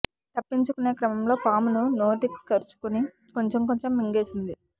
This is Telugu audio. తప్పించుకునే క్రమంలో పామును నోటికి కరుచుకుని కొంచెం కొంచెం మింగేసింది